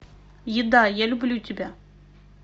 еда я люблю тебя